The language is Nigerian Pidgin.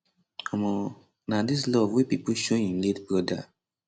um na dis love wey pipo show im late broda